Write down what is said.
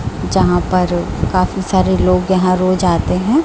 जहां पर काफी सारे लोग यहां रोज आते हैं।